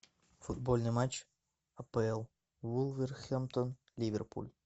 футбольный матч апл вулверхэмптон ливерпуль